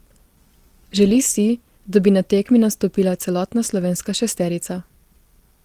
Želi si, da bi na tekmi nastopila celotna slovenska šesterica.